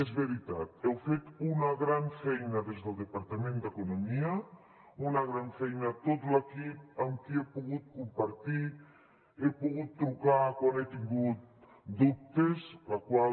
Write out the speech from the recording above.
és veritat heu fet una gran feina des del departament d’economia una gran feina tot l’equip amb qui he pogut compartir he pogut trucar quan he tingut dubtes la qual